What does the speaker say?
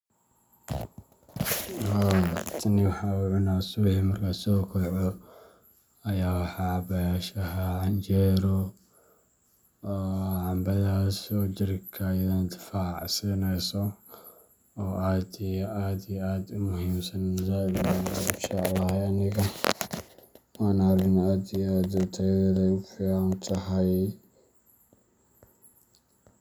Haa tani waxaa subixi markan so kaco .Aya waxa cabaya shaxa, canjero iyo camboyinkan ,jirka ayey difac sinesa oo aad iyo aad, u muhimsan waa arin aad tayadedu u fican tahay.